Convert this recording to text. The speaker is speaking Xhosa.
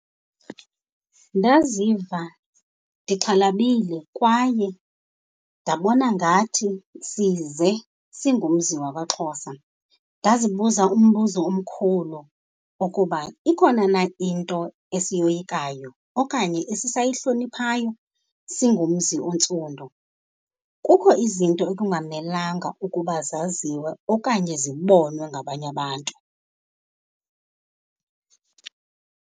Ndaziva ndixhalabile kwaye ndabona ngathi size singumzi wakwaXhosa. Ndazibuza umbuzo omkhulu ukuba ikhona na into esiyoyikayo okanye esisayihloniphayo singumzi ontsundu. kukho izinto ekungamelanga ukuba zaziw okanye zibonwe ngabanye abantu.